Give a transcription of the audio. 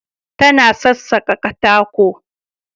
Tana sassaƙa katako